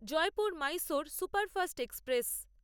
Jaipur Mysore superfast express